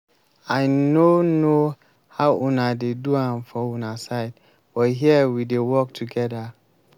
i no know how una dey do am for una side but here we dey work together